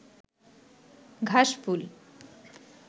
ঘাসফুল